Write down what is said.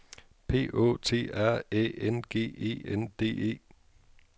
P Å T R Æ N G E N D E